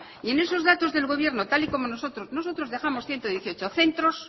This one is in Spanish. y en esos datos del gobierno tal y como nosotros nosotros dejamos ciento dieciocho centros